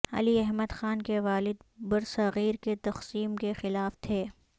علی احمد خان کے والد برضغیر کی تقسیم کے خلاف تھے